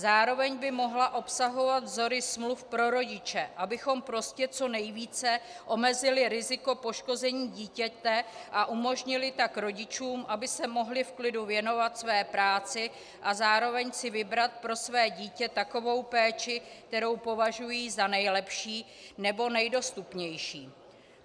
Zároveň by mohla obsahovat vzory smluv pro rodiče, abychom prostě co nejvíce omezili riziko poškození dítěte a umožnili tak rodičům, aby se mohli v klidu věnovat své práci a zároveň si vybrat pro své dítě takovou péči, kterou považují za nejlepší nebo nejdostupnější.